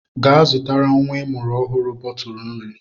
Gaa zụtara nwa ịmụrụ ọhụrụ bọtụlụ nri!